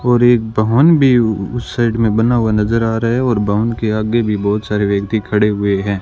और एक भवन भी उस साइड में बना हुआ नजर आ रहा है और भवन के आगे भी बहुत सारे व्यक्ति खड़े हुए हैं।